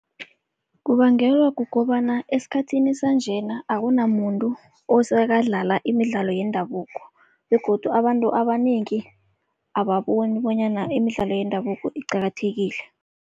Kubangelwa kukobana esikhathini sanjena akunamuntu osekadlala imidlalo yendabuko begodu abantu abanengi ababoni bonyana imidlalo yendabuko iqakathekile.